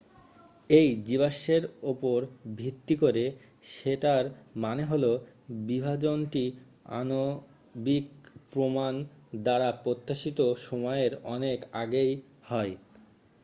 """এই জীবাশ্মের উপর ভিত্তি করে সেটার মানে হলো বিভাজনটি আণবিক প্রমাণ দ্বারা প্রত্যাশিত সময়ের অনেক আগে হয়।